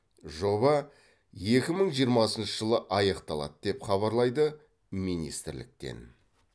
жоба екі мың жиырмасыншы жылы аяқталады деп хабарлайды министрліктен